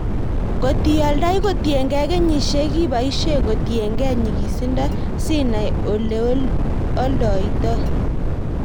Kot ioldoi kotiengei kenyisiek ibesye kotiengei nyikisindo sinai oleoldoitoi.